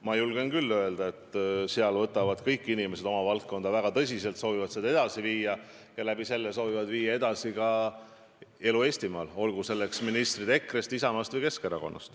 Ma julgen öelda, et seal võtavad kõik inimesed – ministrid nii EKRE-st, Isamaast kui ka Keskerakonnast – oma valdkonda väga tõsiselt, soovivad seda edasi viia ja selle kaudu viia edasi elu Eestimaal.